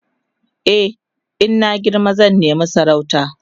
e in na girma zan nema sarauta